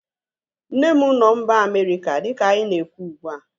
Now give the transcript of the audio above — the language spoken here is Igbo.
Nne m nọ mba Amerịka dịka anyị na-ekwu ugbua